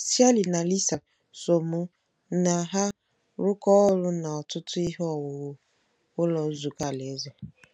Shirley na Lisa so mụ na ha rụkọọ ọrụ n'ọtụtụ ihe owuwu Ụlọ Nzukọ Alaeze.